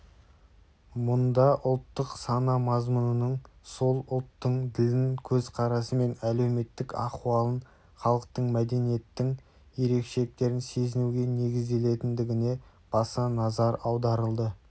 мұнда ұлттық сана мазмұнының сол ұлттың ділін көзқарасы мен әлеуметтік ахуалын халықтық мәдениеттің ерекшеліктерін сезінуге негізделетіндігіне баса назар аударылды